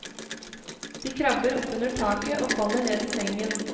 De krabber oppunder taket og faller ned i sengen.